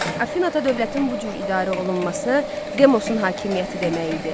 Afinada dövlətin bu cür idarə olunması Demosun hakimiyyəti demək idi.